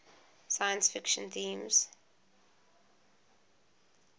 science fiction themes